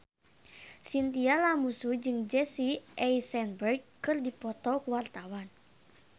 Chintya Lamusu jeung Jesse Eisenberg keur dipoto ku wartawan